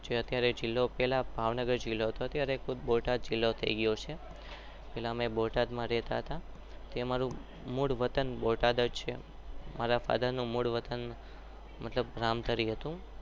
અત્યરે પેલા ભાવનગર જીલ્લો હતો અમારું મૂળ વતન બોટાડ છે